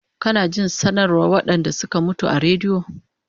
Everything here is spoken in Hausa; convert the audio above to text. Kana jin sanarwan waɗanɗa suka mutu a radio